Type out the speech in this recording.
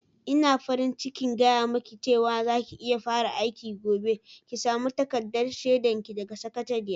Ina farin cikin gaya miki cewa za ki iya fara aiki gobe, ki sami takardar shaidar ki daga sakatariya.